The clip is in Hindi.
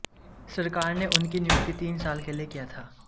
सरकार ने उनकी नियुक्ति तीन साल के लिए किया था